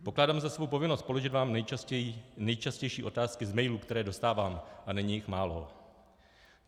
Pokládám za svou povinnost položit vám nejčastější otázky z mailů, které dostávám, a není jich málo.